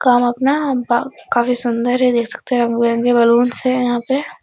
काम अपना बा काफी सुन्दर हैं देख सकते है रंग-बिरंगे बल्लूंस है यहां पे।